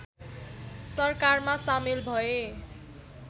सरकारमा सामेल भए